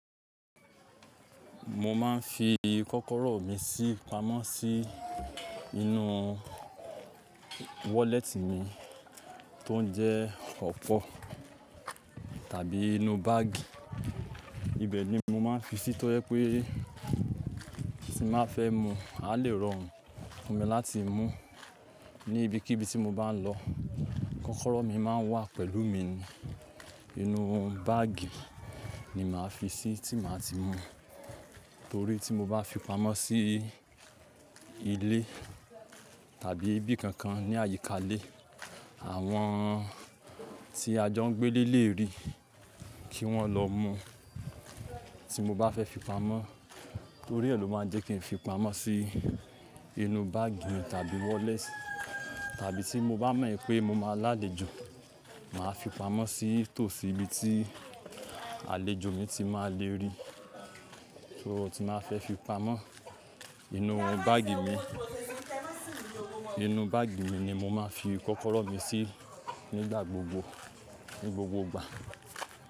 Mo máa ń fi kọ́kọ́rọ́ mi sí pamọ́ sí inú wallet mi tó ń jẹ́ ọ̀pọ̀ tàbí inú báàgì. Ibẹ̀ ni mo máa ń fi sí tó jẹ pé tí n bàá fẹ́ mú, a lè rorun fún mi láti mú ní ibi kí bi tí mo bá ń lọ. Kọ́kọ́rọ́ mi máa ń wà pẹ̀lú mi ni. Inú báàgì ni màá fi sí tí màá ti mú torí tí mo bá fi pamọ́ sí ilé tàbí ibi kankan ní àyíká ilé, àwọn tí ajo ń gbé lé lè rí kí wọ́n lọ mú tí mo bá fẹ́ fi pamọ́. Torí ẹ ló máa ń jẹ́ kí n fi pamọ́ sí inú báàgì mi tàbí wallet tàbí tí mo bá mọ̀ pé mo máa lálejo, màá fi pamọ́ sí tòsí ibi tí àlejò mi ti máa lè rí tí mo tí màá fẹ́ fi pamọ́. Inú báàgì mi, inú báàgì mi ni mo máa ń fi kọ́kọ́rọ́ mi sí nígbà gbogbo, ní gbogbo ìgbà.